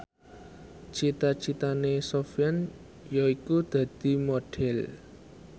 cita citane Sofyan yaiku dadi Modhel